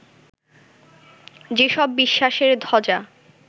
যেসব বিশ্বাসের ধ্বজা